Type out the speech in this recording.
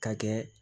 Ka kɛ